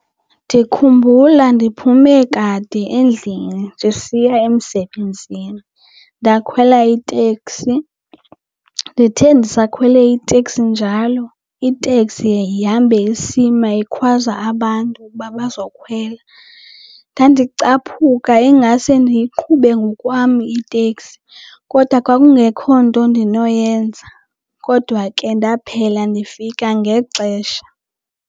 Ndikhumbula ndiphume kade endlini ndisiya emsebenzini ndakhwela iteksi. Ndithe ndisakhwele iteksi njalo iteksi yahambe isima ikhwaza abantu ukuba bazokhwela. Ndandicaphuka ingase ndiyiqhube ngokwam itekisi kodwa kwakungekho nto ndinoyenza. Kodwa ke ndaphela ndifika ngexesha.